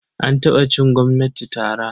An taɓa cin gwamnati tara.